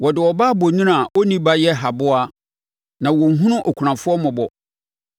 Wɔde ɔbaa bonini a ɔnni ba yɛ haboa, na wɔnhunu akunafoɔ mmɔbɔ.